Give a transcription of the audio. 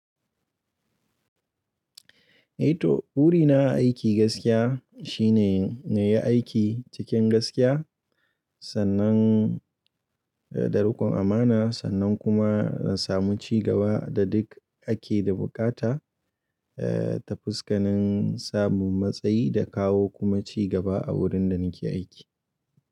Eh to buri na aiki gaskiya shine na yi aiki cikin gaskiya sannan da riƙon amana sannan kuma na samu cigaba da duk ake da bukata ta fuskanin samun matsayi da kawo kuma cigaba a wurin da nake aiki.